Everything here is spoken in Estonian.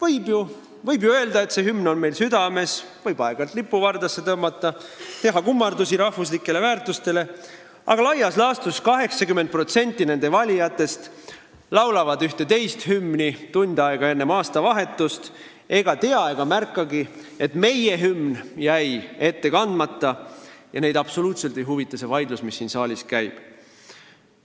Nad võivad ju öelda, et see hümn on neil südames, nad võivad aeg-ajalt lipu vardasse tõmmata ja teha kummardusi rahvuslikele väärtustele, aga laias laastus 80% nende valijatest laulavad tund aega enne aastavahetust ühte teist hümni ja ei tea ega märkagi, et meie hümn jäi ette kandmata, ja neid absoluutselt ei huvita see vaidlus, mis siin saalis käib.